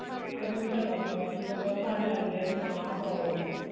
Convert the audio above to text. solution ਹੈ ਉੱਥੇ ਬਸ ਵੀ ਬੰਦਾ ਫੜ ਲੈਂਦੇ ਐ ਵੀ ਹਾਂ ਆਹ problem ਐ